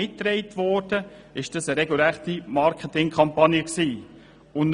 Man kann sagen, dass dies eine regelrechte Marketingkampagne war.